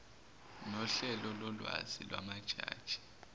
nohlelo lolwazi lwamajini